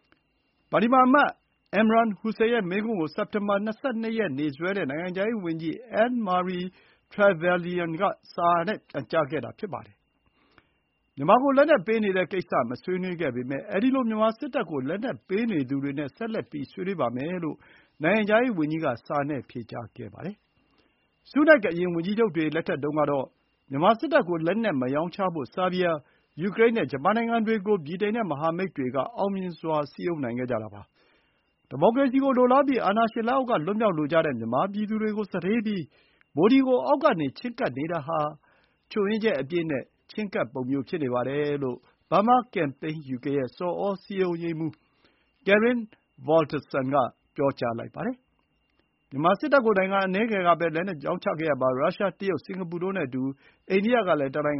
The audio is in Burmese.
။ ပါလီမန်အမတ် အင်မ်ရန် ဟူစိန် Imran Hussain ရဲ့ မေးခွန်း ကို စက်တင်ဘာလ ၂၂ ရက် က နိုင်ငံခြားရေးဝန်ကြီး အန်းမာရီ ထရယ်ဗယ်လျံ Anne-Marie Trevelyan က စာနဲ့ ပြန်ကြားခဲ့တာ ဖြစ်ပါတယ်။ “မြန်မာကို လက်နက်ပေးနေတဲ့ကိစ္စ မဆွေးနွေးခဲ့ပေမယ့်၊ အဲဒီလို မြန်မာစစ်တပ်ကို လက်နက်ပေးနေသူတွေနဲ့ ဆက်လက် ဆွေးနွေးပါမယ်” လို့ နိုင်ငံခြားရေးဝန်ကြီးက စာနဲ့ ဖြေကြားခဲ့ပါတယ်။ ဆူးနက်ခ် အရင် ဝန်ကြီးချုပ်တွေ လက်ထက်တုန်းကတော့ မြန်မာစစ်တပ်ကို လက်နက် မရောင်းချဖို့ ဆားဘီးယား၊ ယူကရိန်းနဲ့ ဂျပန်နိုင်ငံတွေကို ဗြိတိန်နဲ့ မဟာမိတ်တွေက အောင်မြင်စွာ စည်းရုံးနိုင်ခဲ့ကြတာပါ။ “ဒီမိုကရေစီကို လိုလားပြီး အာဏာရှင် လက်အောက်က လွတ်မြောက်လိုကြတဲ့ မြန်မာပြည်သူတွေကို စတေးပြီး၊ မိုဒီကို အောက်ကနေ ချဥ်းကပ်နေတာဟာ ချွတ်ယင်းချက် အပြည့်နဲ့ ချဥ်းကပ်ပုံ ဖြစ်နေတယ်လို့ ဘားမား ကမ်ပိန်းယူကေရဲ့ ဆော်ဩစည်းရုံးရေးမှူး Karin Valtersson ကရင်း ဗော်လ်တာဆန်က ပြောပါတယ်။ မြန်မာစစ်တပ်ကို နိုင်ငံအနည်းငယ်ကပဲ လက်နက်ရောင်းချခဲ့ရာမှာ ရုရှား၊ တရုတ်၊ စင်္ကာပူတို့နဲ့အတူ အိန္ဒိယကလည်း တစ်နိုင်